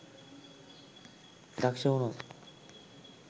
දක්ෂ වුණොත්